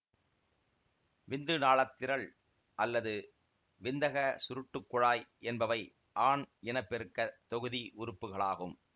விந்து நாளத்திரள் அல்லது விந்தக சுருட்டுக் குழாய் என்பவை ஆண் இன பெருக்க தொகுதி உறுப்புக்களாகும்